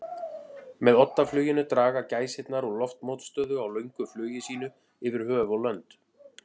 Með oddafluginu draga gæsirnar úr loftmótstöðu á löngu flugi sínu yfir höf og lönd.